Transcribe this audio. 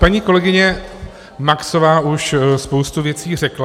Paní kolegyně Maxová už spoustu věcí řekla.